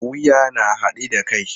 Wuya na haɗe da kai.